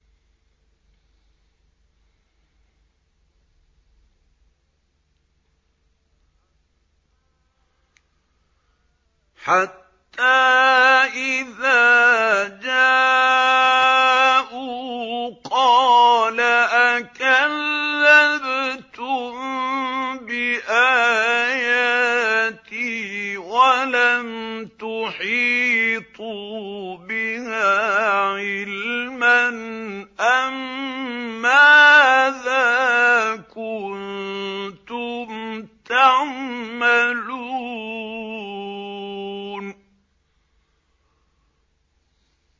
حَتَّىٰ إِذَا جَاءُوا قَالَ أَكَذَّبْتُم بِآيَاتِي وَلَمْ تُحِيطُوا بِهَا عِلْمًا أَمَّاذَا كُنتُمْ تَعْمَلُونَ